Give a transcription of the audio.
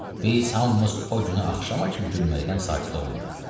Biz hamımız o günü axşama kimi gülməkdən sakit olmadıq.